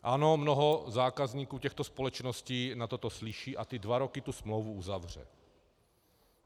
Ano, mnoho zákazníků těchto společností na toto slyší a na dva roky tu smlouvu uzavře.